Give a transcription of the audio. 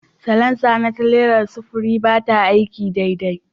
Salansa na tirelar sufuri ba ta aiki daidai